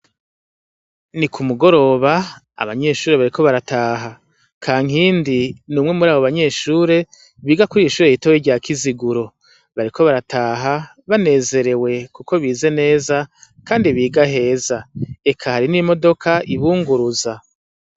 ni ku mugoroba abanyeshuri bariko barataha kankindi numwe muri abo banyeshuri biga kuri ryo ishure ritoya irya kiziguro bariko barataha banezerewe kuko bize neza kandi biga heza eka n'imodoka ibunguruza